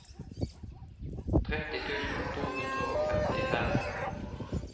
tretti tusen to hundre og femtifem